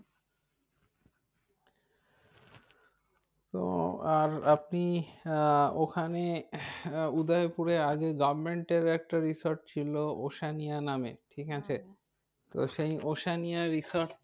তো আর আপনি আহ ওখানে উদয়পুরে আগে government এর একটা resort ছিল ওসানিয়া নামে ঠিক আছে তো সেই ওসানিয়া resort টা